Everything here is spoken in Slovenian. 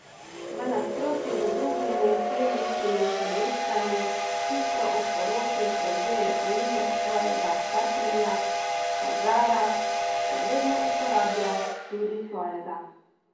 V nasprotju z drugimi plemiškimi nevestami, ki so ob poroki prevzele priimek svojega partnerja, pa Zara še vedno uporablja tudi svojega.